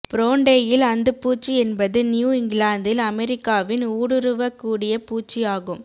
browntail அந்துப்பூச்சி என்பது New இங்கிலாந்தில் அமெரிக்காவின் ஊடுருவக்கூடிய பூச்சி ஆகும்